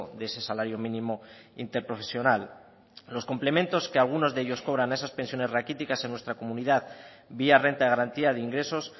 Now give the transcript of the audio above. de ese salario mínimo interprofesional los complementos que algunos de ellos cobran a esas pensiones raquíticas en nuestra comunidad vía renta de garantía de ingresos